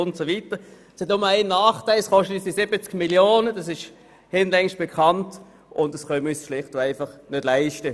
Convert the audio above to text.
Es hat nur einen Nachteil, nämlich dass es 70 Mio. Franken kostet, und das können wir uns schlicht und einfach nicht leisten.